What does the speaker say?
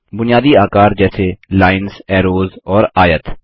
बुनियादी आकार जैसे लाइन्स ऐरोज़ और आयत